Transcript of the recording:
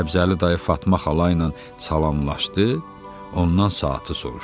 Səbzəli dayı Fatma xala ilə salamlaşdı, ondan saatı soruşdu.